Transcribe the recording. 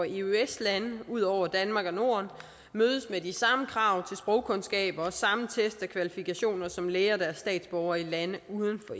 eueøs lande ud over danmark og norden mødes med de samme krav til sprogkundskaber og samme test af kvalifikationer som læger der er statsborgere i lande uden for